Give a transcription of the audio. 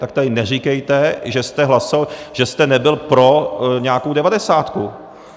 Tak tady neříkejte, že jste nebyl pro nějakou devadesátku.